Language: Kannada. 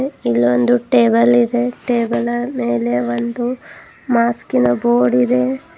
ಇಲ್ಲೊಂದು ಟೇಬಲ್ ಇದೆ ಟೇಬಲ್ ಮೇಲೆ ಒಂದು ಮಾಸ್ಕಿ ನ ಬೋರ್ಡ್ ಇದೆ.